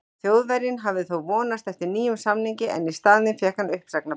Þjóðverjinn hafði þó vonast eftir nýjum samningi en í staðinn fékk hann uppsagnarbréf.